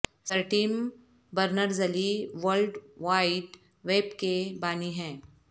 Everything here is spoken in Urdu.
سر Tim Berners Lee world wide web کے بانی ہیں